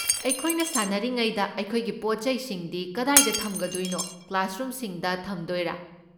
ꯑꯩꯈꯣꯏꯅ ꯁꯥꯟꯅꯔꯤꯉꯩꯗ ꯑꯩꯈꯣꯏꯒꯤ ꯄꯣꯠ ꯆꯩꯁꯤꯡꯗꯤ ꯀꯗꯥꯏꯗ ꯊꯝꯒꯗꯣꯏꯅꯣ, ꯀ꯭ꯂꯥꯁꯔꯨꯝꯁꯤꯡꯗ ꯊꯝꯗꯣꯏꯔꯥ?